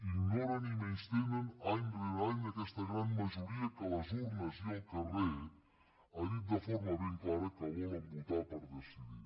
ignoren i menystenen any rere any aquesta gran majoria que a les urnes i al carrer ha dit de forma ben clara que volen votar per decidir